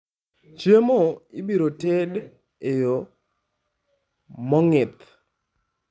Chiemo ibiro tedo e yo mong'ith.